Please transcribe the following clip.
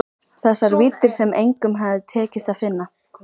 Þessar víddir sem engum hafði tekist að finna.